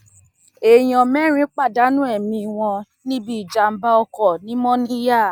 èèyàn mẹrin pàdánù ẹmí wọn níbi ìjàmbá ọkọ ní mòníyà